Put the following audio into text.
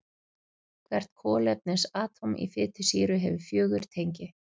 Hvert kolefnisatóm í fitusýru hefur fjögur tengi.